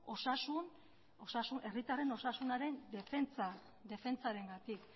herritarren osasunaren defentsarengatik